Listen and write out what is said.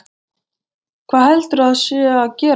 Hvað heldurðu að sé að gerast þar?